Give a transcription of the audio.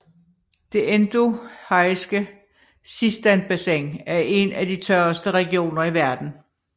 Det endorheiske Sistanbassin er en af de tørreste regioner i verden